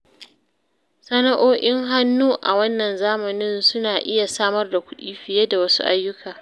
Sana’o’in hannu a wannan zamanin suna iya samar da kuɗi fiye da wasu ayyuka.